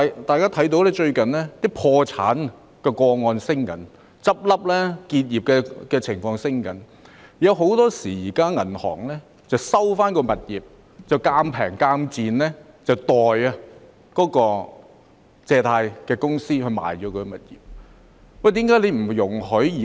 大家看到最近的破產個案正在上升，結業的情況亦正在增加，很多時候銀行會收回物業再以賤價代借貸公司沽售物業。